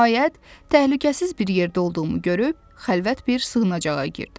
Nəhayət, təhlükəsiz bir yerdə olduğumu görüb xəlvət bir sığınacağa girdim.